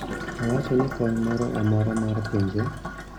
Owacho ni kony moro amora mar pinje